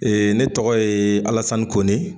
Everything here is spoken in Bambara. ne tɔgɔ ye ALASANI KONE.